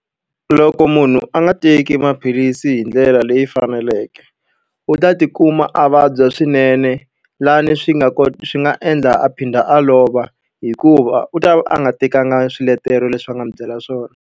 Loko munhu a nga teki maphilisi hi ndlela leyi faneleke, u ta tikuma a vabya swinene laha ni swi nga swi nga endla a phinda a lova. Hikuva u ta va a nga tekanga swiletelo leswi va nga n'wi byela swona.